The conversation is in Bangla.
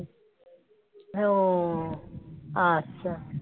ও আচ্ছা